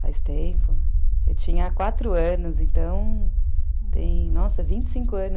Faz tempo. Eu tinha quatro anos, nossa, vinte e cinco anos.